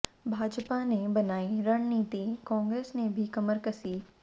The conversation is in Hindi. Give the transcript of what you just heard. भाजपा ने बनाई रणनीति कांग्रेस ने भी कमर कसी